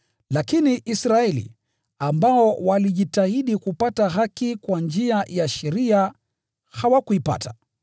Lakini Israeli, ambao walijitahidi kupata haki kwa njia ya sheria, hawakuipata.